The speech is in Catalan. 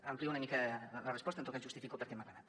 amplio una mica la resposta en tot cas justifico per què m’ha agradat